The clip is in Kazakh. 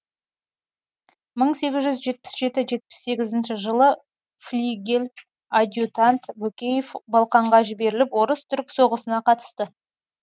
мың сегіз жүз жетпіс сегіз жылы флигель адъютант бөкеев балқанға жіберіліп орыс түрік соғысына қатысты